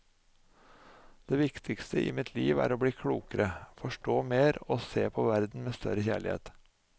Det viktigste i mitt liv er å bli klokere, forstå mer og se på verden med større kjærlighet.